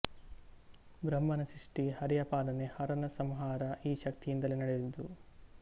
ಬ್ರಹ್ಮನ ಸೃಷ್ಠಿ ಹರಿಯ ಪಾಲನೆ ಹರನ ಸಂಹಾರ ಈ ಶಕ್ತಿಯಿಂದಲೇ ನಡೆಯುವುದು